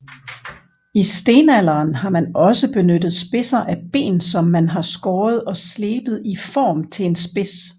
I stenalderen har man også benyttet spidser af ben som man har skåret og slebet i form til en spids